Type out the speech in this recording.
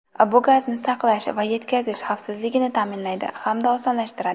Bu gazni saqlash va yetkazish xavfsizligini ta’minlaydi hamda osonlashtiradi.